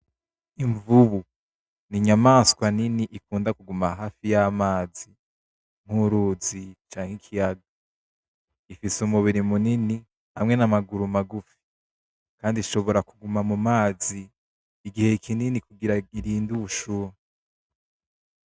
Imvubu ni inyamaswa nini ikunda kuguma hafi y'amazi nk'uruzi canke ikiyaga. Ifise umubiri munini hamwe n'amaguru magufi. Kandi ishobora ku guma mu mazi igihe kinini kugira irinde ubushuhe.